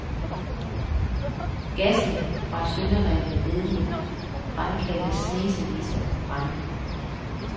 Gassen fra sønderrevne ledninger fremkaldte snesevis af brande.